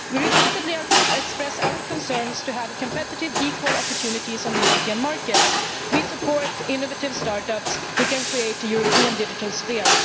We repeatedly express our concern for there to be competitive equal opportunities on the European markets, and we support innovative start ups which can create a European digital sphere.